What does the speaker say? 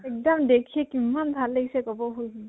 এক্দম দেখি কিমান ভাল লাগিছে কʼব